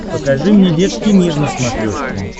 покажи мне детский мир на смотрешке